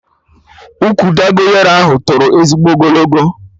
Ụkwụ Dogonyaro ahụ toro ezigbo ogologo